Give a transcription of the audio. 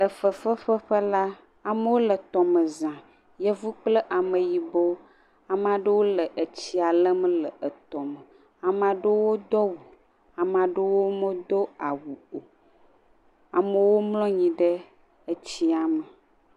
Le fefefe ƒe la, amewo le t le me zã. Yevu kple ame yibɔ. Ame aɖe le etsia lem le etɔ me